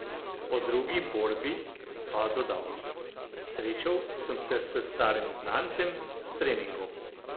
O drugi borbi pa dodal: "Srečal sem se s starim znancem s treningov.